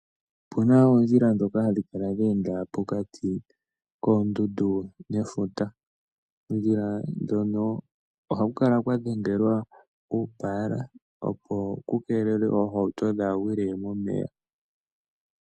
Opuna oondjila ndhoka hadhi kala dheenda pokati koondundu nefuta. Oondjila ndhono ohaku kala kwadhengelwa uupala, opo kukeelelwe oohauto dhaagwile momeya.